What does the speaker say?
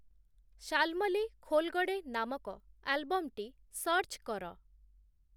ଶାଳ୍ମଳୀ ଖୋଲ୍‌ଗଡ଼େ ନାମକ ଆଲବମ୍‌ଟି ସର୍ଚ୍ଚ୍‌ କର